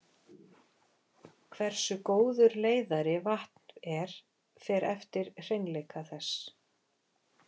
Hversu góður leiðari vatn er fer eftir hreinleika þess.